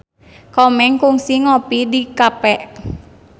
Komeng kungsi ngopi di cafe